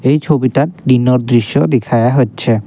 এই ছবিটা দিনর দৃশ্য দিখায়া হচ্ছে।